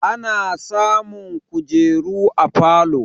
Ana samun kujeru a falo